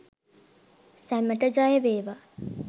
සැමට ජයවේවා!